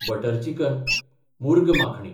butter chicken (मूर्ग माखणी)